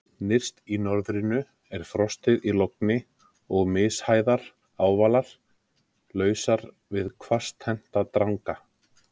Nyrst í norðrinu er frostið í logni og mishæðir ávalar, lausar við hvasstennta dranga.